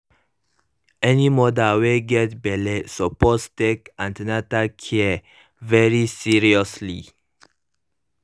any mother wey get belle suppose take an ten atal care very seriously